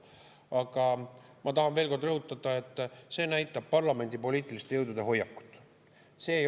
Aga ma tahan veel kord rõhutada, et see näitab parlamendi poliitiliste jõudude hoiakut.